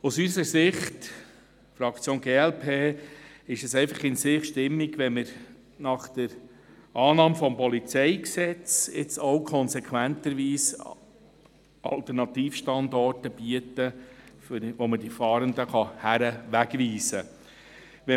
Aus unserer Sicht, der Fraktion glp, ist es einfach in sich stimmig, wenn man nach der Annahme des PolG jetzt auch konsequenterweise Alternativstandorte bietet, wohin man die Fahrenden wegweisen kann.